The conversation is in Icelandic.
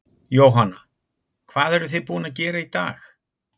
Jóhanna: Hvað eruð þið búin að gera í dag?